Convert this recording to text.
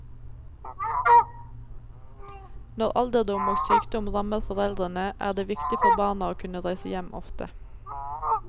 Når alderdom og sykdom rammer foreldrene, er det viktig for barna å kunne reise hjem ofte.